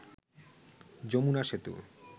Jamuna Setu